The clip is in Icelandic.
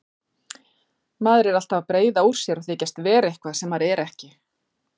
Maður er alltaf að breiða úr sér og þykjast vera eitthvað sem maður er ekki.